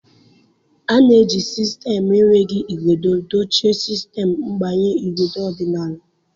A na-eji sistemu enweghị igodo dochie sistemu mgbanye igodo ọdịnala.